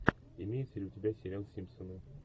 имеется ли у тебя сериал симпсоны